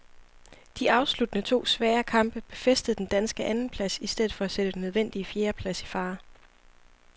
De afsluttende to svære kamp befæstede den danske andenplads i stedet for at sætte den nødvendige fjerdeplads i fare.